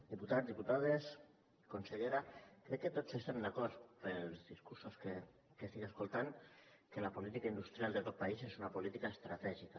diputats diputades consellera veig que tots estem d’acord pels discursos que estic escoltant que la política industrial de tot país és una política estratègica